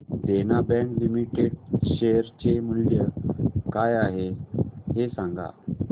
देना bank limited share चे मूल्य काय आहे हे सांगा